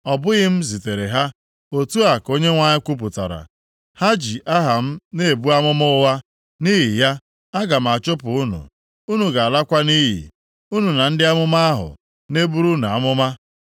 ‘Ọ bụghị m zitere ha,’ otu a ka Onyenwe anyị kwupụtara. ‘Ha ji aha m na-ebu amụma ụgha. Nʼihi ya, aga m achụpụ unu, unu ga-alakwa nʼiyi, unu na ndị amụma ahụ na-eburu unu amụma.’ ”